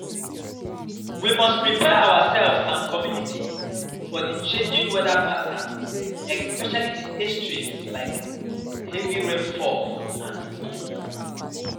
We must prepare ourselves and communities for di changing weather patterns especially di extremes like heavy rainfall and heatwaves.